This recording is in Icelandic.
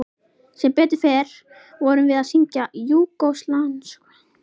Sem betur fer vorum við að syngja júgóslavneska vinnings